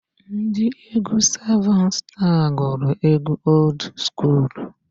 Ndị egwu sevun staa gụrụ egwu old skuulu.